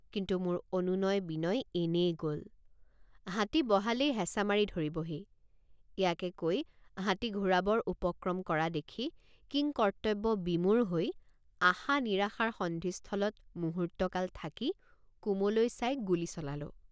কিন্তু মোৰ অনুনয়বিনয় এনেয়ে গল। কিন্তু মোৰ অনুনয়বিনয় এনেয়ে গল। হাতী বহালেই হেঁচ৷ মাৰি ধৰিবহি ইয়াকে কৈ হাতী ঘূৰাবৰ উপক্ৰম কৰা দেখি কিংকৰ্তব্যবিমূঢ় হৈ আশানিৰাশাৰ সন্ধিস্থলত মুহূৰ্তকাল থাকি কুমলৈ চাই গুলী চলালোঁ।